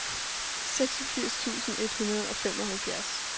seksogfirs tusind et hundrede og femoghalvfjerds